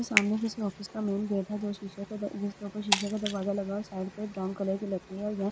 सामने किसी ऑफिस का मेन गेट है जो शीशे जिसके ऊपर शीशे का दरवाजा लगा और साइड पे ब्राउन कलर की लकड़ी है और यह --